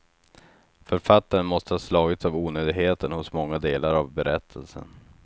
Författaren måste ha slagits av onödigheten hos många delar av berättelsen.